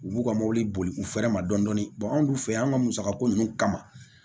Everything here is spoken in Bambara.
U b'u ka mobili boli u fɛrɛ ma dɔɔni an dun fɛ yan ka musakako ninnu kama